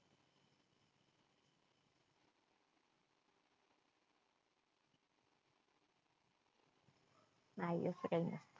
नाही असं काय नाही.